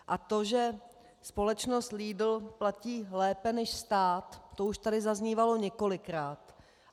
A to, že společnost Lidl platí lépe než stát, to už tady zaznívalo několikrát.